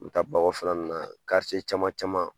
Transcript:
U bi taa ba kɔfɛla nunnu na caman caman.